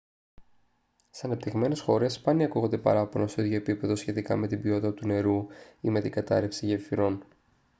στις ανεπτυγμένες χώρες σπάνια ακούγονται παράπονα στο ίδιο επίπεδο σχετικά με την ποιότητα του νερού ή με την κατάρρευση γεφυρών